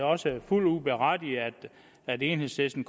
også fuldt ud berettiget at enhedslisten